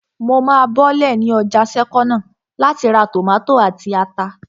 Mo máa bọ́lẹ̀ ní ọjà sẹ́kọ́nà láti ra tòmátò àti ata